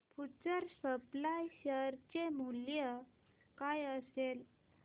future supply share चे मूल्य काय असेल